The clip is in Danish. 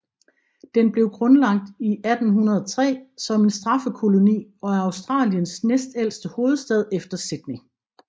Den blev grundlagt i 1803 som en straffekoloni og er Australiens næstældste hovedstad efter Sydney